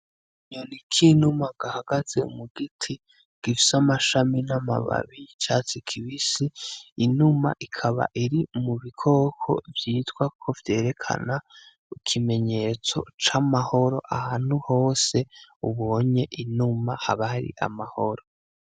Akanyoni k'inuma gahagaze mu giti gifise amashami n'amababi y'icatsi kibisi, inuma ikaba iri mu bikoko vyitwa ko vyerekana ikimenyetso c'amahoro. Ahantu hose ubonye inuma haba hari amahoro.